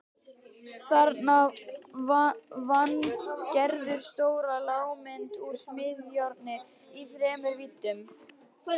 Þarna vann Gerður stóra lágmynd úr smíðajárni í þremur víddum.